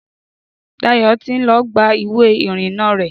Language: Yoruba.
Dayọ̀ ti ń lọ gba ìwé ìrìna rẹ̀